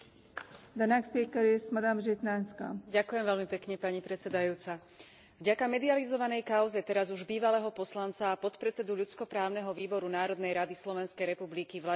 Vďaka medializovanej kauze teraz už bývalého poslanca a podpredsedu ľudskoprávneho výboru Národnej rady Slovenskej republiky Vladimíra Jánoša rezonuje téma násilia páchaného na ženách aj v slovenskej spoločnosti.